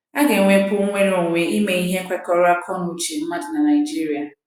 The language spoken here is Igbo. À Ga - enwekwu Nnwere Onwe Ime Ihe Kwekọrọ n’Akọ na Uche Mmadụ na Naịjirịa